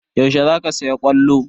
Yaushe zaka saya ƙwallo?